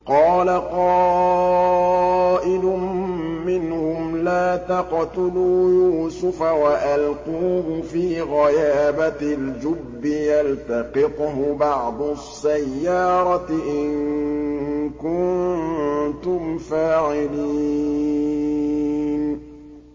قَالَ قَائِلٌ مِّنْهُمْ لَا تَقْتُلُوا يُوسُفَ وَأَلْقُوهُ فِي غَيَابَتِ الْجُبِّ يَلْتَقِطْهُ بَعْضُ السَّيَّارَةِ إِن كُنتُمْ فَاعِلِينَ